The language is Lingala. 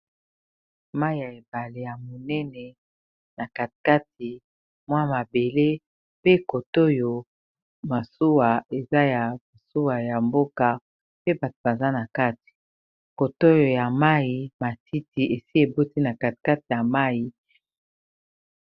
mai ya ebale ya monene na katikati mwa mabele pe kotoyo masuwa eza ya masuwa ya mboka pe bato baza na kati kotoyo ya mai matiti esi eboti na katkati ya mai